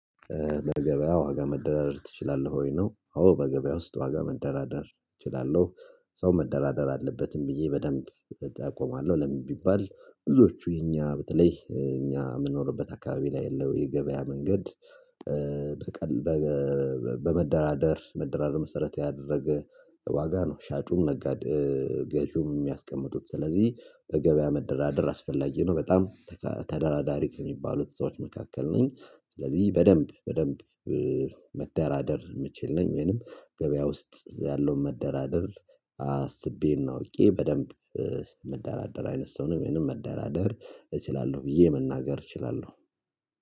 በገበያ ዋጋ መደራደር ትችላለህ ወይ ነው፤ አዎ፣ በገበያ ውስጥ ዋጋ መደራደር እችላለሁ፤ ሰው መደራደር አለበትም ብዬ በደንብ እጠቆማለሁ፤ ለምን ቢባል ብዙዎቹ የኛ በተለይ እኛ የምንኖርበት አካባቢ ላይ ያለው የገበያ መንገድ በቀልበ በመደራደር መደራደር መሰረት ያደረገ ዋጋ ነው ሻጩም ነጋዴ ገዢውም የሚያስቀምጡት። ስለዚህ በገበያ መደራደር አስፈላጊ ነው፤ በጣም ተደራዳሪ ከሚባሉት ሰዎች መካከል ነኝ። ስለዚህ በደንብ በደንብ መደራደር የምችል ነኝ ወይንም ገበያ ውስጥ ያለውን መደራደር አስቤ እና አውቄ በደንብ መደራደር አይነት ሰው ነኝ ወይንም መደራደር እችላለሁ ብዬ መናገር እችላለሁ።